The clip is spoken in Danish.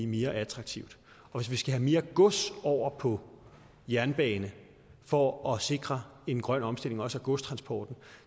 mere attraktivt og hvis vi skal have mere gods over på jernbane for at sikre en grøn omstilling også af godstransporten